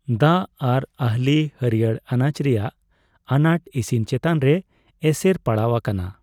ᱫᱟᱜ ᱟᱨ ᱟᱦᱹᱞᱤ ᱦᱟᱹᱲᱭᱟᱹᱨ ᱟᱱᱟᱪ ᱨᱮᱭᱟᱜ ᱟᱱᱟᱴ ᱤᱥᱤᱱ ᱪᱮᱛᱟᱱ ᱨᱮ ᱮᱥᱮᱨ ᱯᱟᱲᱟᱣ ᱟᱠᱟᱱᱟ ᱾